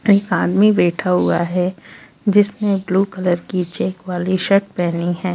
अ एक आदमी बैठा हुआ है जिसने ब्लू कलर की चेक वाली शर्ट पहनी है।